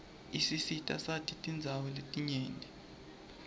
isisitasati tindawo letinyenti